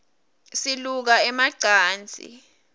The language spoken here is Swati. siluka ema cansi